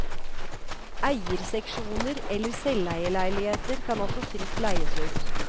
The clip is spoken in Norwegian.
Eierseksjoner eller selveierleiligheter kan også fritt leies ut.